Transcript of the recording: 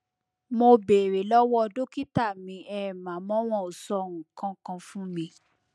mo béèrè lọwọ dókítà mi um àmọ wọn ò sọ nǹkan kan fún mi